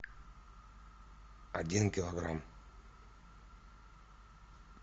один килограмм